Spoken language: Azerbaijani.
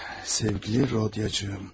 Sevgili Rodiyacım.